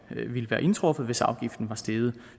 ville være indtruffet hvis afgiften var steget